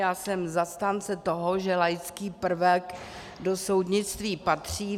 Já jsem zastánce toho, že laický prvek do soudnictví patří.